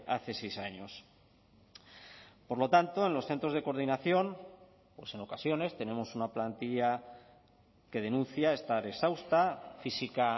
hace seis años por lo tanto en los centros de coordinación en ocasiones tenemos una plantilla que denuncia estar exhausta física